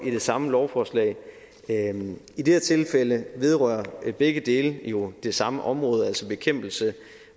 i det samme lovforslag i det her tilfælde vedrører begge dele jo det samme område altså bekæmpelse